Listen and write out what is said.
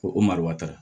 Ko o marɔ